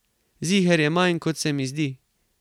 Ziher je manj, kot se mi zdi.